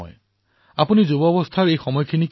এয়া জীৱনৰ আটাইতকৈ মূল্যবান কালখণ্ড